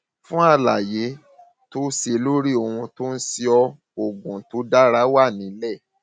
fún àlàyé tó àlàyé tó o ṣe lórí ohun tó ń ṣe ọ oògùn tó dára wà nílẹ